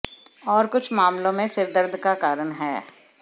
और कुछ मामलों में सिर दर्द का कारण है